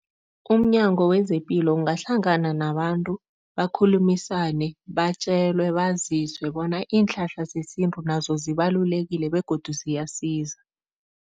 UmNyango wezePilo ungahlangana nabantu bakhulumisane, batjelwe, baziswe bona iinhlahla zesintu nazo zibalulekile begodu ziyasiza.